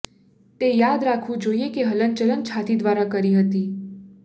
તે યાદ રાખવું જોઈએ કે હલનચલન છાતી દ્વારા કરી હતી